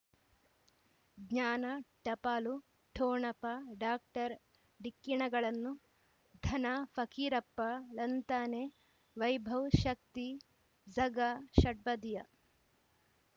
ಜ್ಞಾನ ಟಪಾಲು ಠೊಣಪ ಡಾಕ್ಟರ್ ಢಿಕ್ಕಿ ಣಗಳನು ಧನ ಫಕೀರಪ್ಪ ಳಂತಾನೆ ವೈಭವ್ ಶಕ್ತಿ ಝಗಾ ಷಟ್ಪದಿಯ